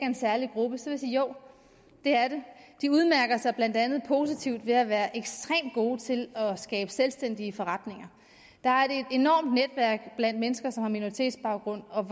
en særlig gruppe sige at jo det er det de udmærker sig blandt andet positivt ved at være ekstremt gode til at skabe selvstændige forretninger der er et enormt netværk blandt mennesker som har minoritetsbaggrund og